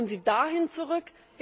Wollen Sie dahin zurück?